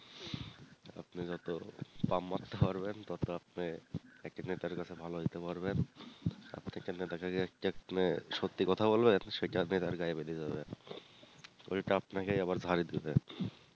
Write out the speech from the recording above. আপনি যতো পাম্প মারতে পারবেন ততো আপনি একটি নেতার কাছে ভালো হইতে পারবেন সত্যি কথা বলবেন সেটাই নেতার গায়ে বেধে যাবে উল্টা আপনাকেই আবার ভাগ দিতে হবে